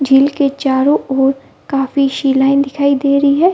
झील के चारों ओर काफी शिलाएं दिखाई दे रही है।